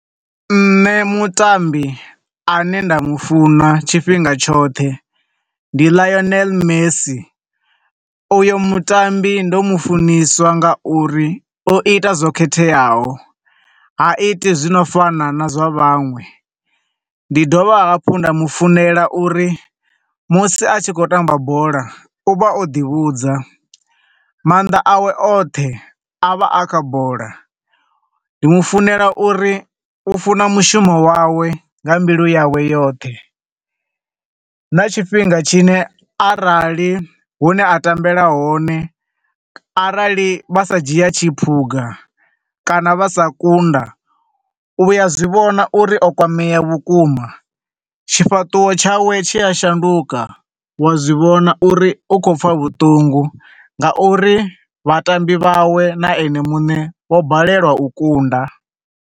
Nṋe mutambi ane nda mufuna tshifhinga tshoṱhe ndi Lionel Messi. U yo mutambi ndo mufuniswa nga uri o ita zwo khetheaho, ha iti zwi no fana na zwa vhanwe. Ndi dovha hafhu nda mufunela uri musi a tshi khou tamba bola, u vha o ḓi vhudza, maanḓa awe oṱhe a vha a kha bola. Ndi mu funela uri u funa mushumo wawe nga mbilu yawe yoṱhe. Na tshifhinga tshine arali hune a tambela hone, arali vha sa dzhia tshiphuga kana vha sa kunda, u vhuya, u a zwivhona uri o kwamea vhukuma. Tshifhaṱuwo tshawe tshi a shanduka, wa zwivhona uri u khou pfa vhuṱungu, nga uri vhatambi vhawe na ene muṋe vho balelwa u kunda.